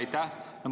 Aitäh!